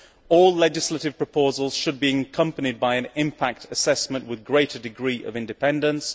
all legislative proposals should be accompanied by an impact assessment with a greater degree of independence